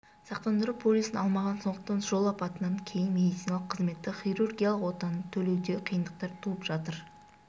сақтандыру полисін алмаған сондықтан жол апатынан кейін медициналық қызметті хирургиялық отаны төлеуде қиындықтар туып жатыр